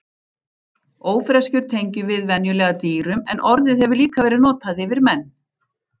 Ófreskjur tengjum við venjulega dýrum en orðið hefur líka verið notað yfir menn.